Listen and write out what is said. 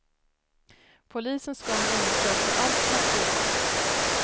Polisen ska nu undersöka allt material.